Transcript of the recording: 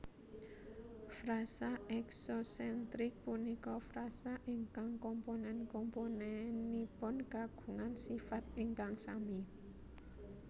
Frasa eksosentrik punika frasa ingkang komponen komponenipun kagungan sifat ingkang sami